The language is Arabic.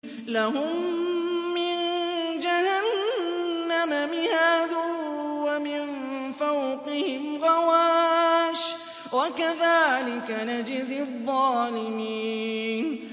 لَهُم مِّن جَهَنَّمَ مِهَادٌ وَمِن فَوْقِهِمْ غَوَاشٍ ۚ وَكَذَٰلِكَ نَجْزِي الظَّالِمِينَ